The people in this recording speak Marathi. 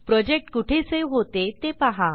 प्रोजेक्ट कुठे सेव्ह होते ते पहा